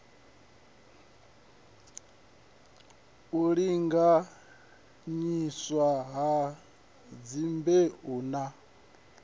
u linganyiswa ha dzimbeu na